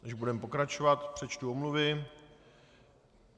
Než budeme pokračovat, přečtu omluvy.